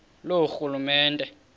loorhulumente